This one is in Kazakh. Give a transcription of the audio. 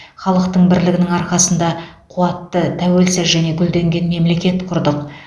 халықтың бірлігінің арқасында қуатты тәуелсіз және гүлденген мемлекет құрдық